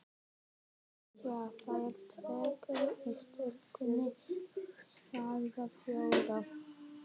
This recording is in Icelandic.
Jú, það er töggur í stúlkunni, svaraði Þóra.